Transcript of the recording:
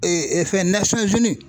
fɛn